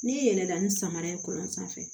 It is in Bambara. N'i yɛlɛlɛnna ni samara ye kuran sanfɛ